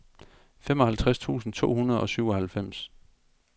femoghalvtreds tusind to hundrede og syvoghalvfems